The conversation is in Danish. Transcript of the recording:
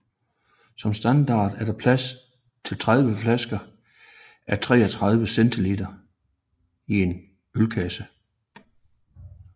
Som standard er der plads til 30 flasker a 33 cl i en ølkasse